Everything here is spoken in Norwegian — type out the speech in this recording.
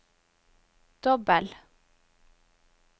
dobbel